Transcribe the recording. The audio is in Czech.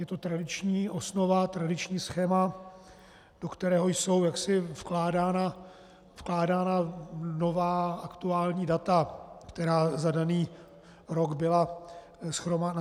Je to tradiční osnova, tradiční schéma, do kterého jsou vkládána nová, aktuální data, která za daný rok byla nashromážděna.